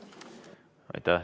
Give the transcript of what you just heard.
Aitäh!